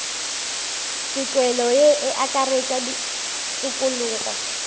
tokelo ye e akaretša tokologo